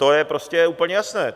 To je prostě úplně jasné.